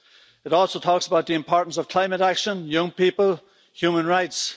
It also talks about the importance of climate action, young people and human rights.